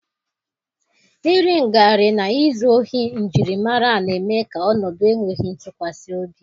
iri ngarị na izu ohi njirimara na-eme ka ọnọdụ enweghị ntụkwasị obi.